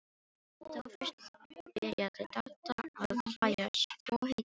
Þá fyrst byrjaði Dadda að hlæja svo heitið gæti.